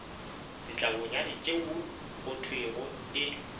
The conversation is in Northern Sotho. ditlabonyane tšeo go thwego e